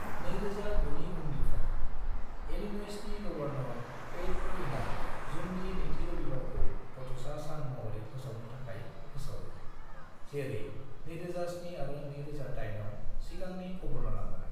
2009 नि उननिफ्राय, इलिन'इसनि गवर्नर पैट क्विनआ जूननि नैथि रबिबारखौ गथ'सा सान महरै फोसावनो थाखाय फोसावो, जेरै 2007 आरो 2008 आव सिगांनि गवर्नरआमोन।